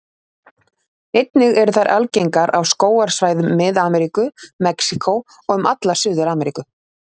Einnig eru þær algengar á skógarsvæðum Mið-Ameríku, Mexíkó og um alla Suður-Ameríku.